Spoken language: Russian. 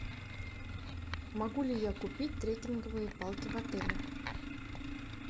могу ли я купить треккинговые палки в отеле